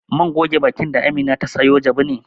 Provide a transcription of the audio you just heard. Man goge bakin da Amina ta sayo jabu ne.